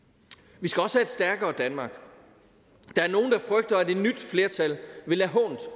vi skal også have et stærkere danmark der er nogle der frygter at et nyt flertal vil lade hånt